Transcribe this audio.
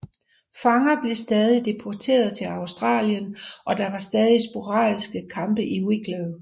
Fanger blev stadig deporteret til Australien og der var stadig sporadiske kampe i Wicklow